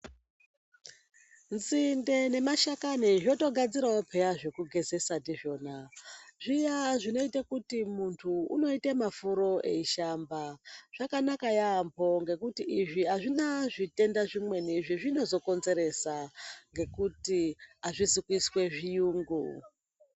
Nzinde nemashakani zvotogadzirawo pheyani zvekugezesa ndizvona zviya, zvinoita kuti muntu unoite mafuro eishamba, zvakanaka yampho, ngekuti izvi azvina zvitenda zvimweni zvazvinozo konzeresa ngekuti azvizi kuiswe zviyungu.